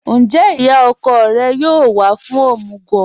Ńjẹ́ iyá ọ̀kọ̀ rẹ̀ yóò wà fún omugwo?